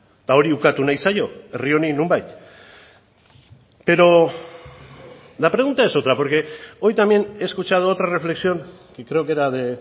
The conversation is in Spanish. eta hori ukatu nahi zaio herri honi nonbait pero la pregunta es otra porque hoy también he escuchado otra reflexión y creo que era de